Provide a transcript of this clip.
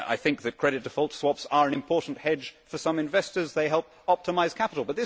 I think that credit default swaps are an important hedge for some investors, they help optimise capital.